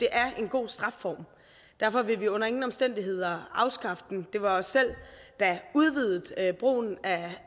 er en god strafform derfor vil vi under ingen omstændigheder afskaffe den det var os selv der udvidede brugen